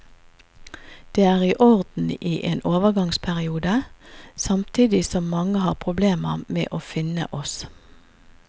Det er i orden i en overgangsperiode, samtidig som mange har problemer med å finne oss.